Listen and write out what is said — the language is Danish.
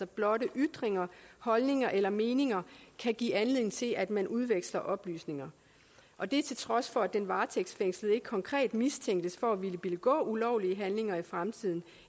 blotte ytringer holdninger eller meninger kan give anledning til at man udveksler oplysninger og det til trods for at den varetægtsfængslede ikke konkret mistænkes for at ville begå ulovlige handlinger i fremtiden